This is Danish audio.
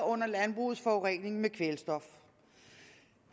under landbrugets forurening med kvælstof